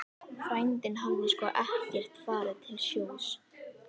Frændinn hafði sko ekkert farið til sjós.